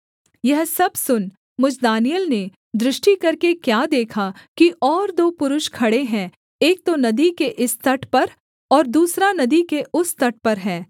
यह सब सुन मुझ दानिय्येल ने दृष्टि करके क्या देखा कि और दो पुरुष खड़े हैं एक तो नदी के इस तट पर और दूसरा नदी के उस तट पर है